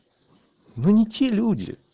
вы не те люди